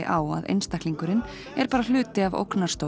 á að einstaklingurinn er hluti af